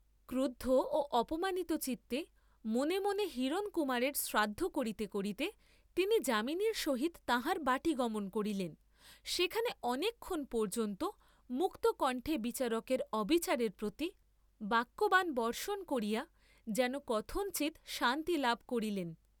ক্রুদ্ধ ও অপমানিত চিত্তে মনে মনে হিরণকুমারের শ্রাদ্ধ করিতে করিতে তিনি যামিনীর সহিত তাঁহার বাটী গমন করিলেন; সেখানে অনেকক্ষণ পর্য্যন্ত মুক্তকণ্ঠে বিচারকের অবিচারের প্রতি বাক্যবাণ বর্ষণ করিয়া যেন কথঞ্চিৎ শান্তি লাভ করিলেন।